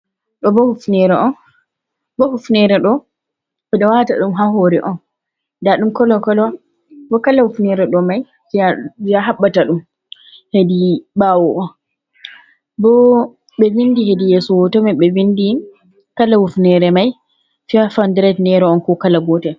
Ɗo bo hufnere on bo hufnere ɗo ɓeɗo waata ɗum ha hore on nda ɗum kolo kolo bo kalo hufnere ɗo mai je a habbata ɗum hedi ɓawo on bo ɓe vindi hedi yeso hoto mai be bindi kala hufnere mai faif hodured nera on ko kala gotel.